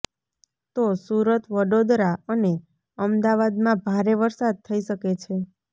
તો સુરત વડોદરા અને અમદાવાદમાં ભારે વરસાદ થઈ શકે છે